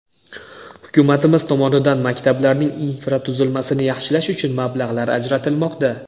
Hukumatimiz tomonidan maktablarning infratuzilmasini yaxshilash uchun mablag‘lar ajratilmoqda.